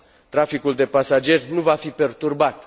Traficul de pasageri nu va fi perturbat.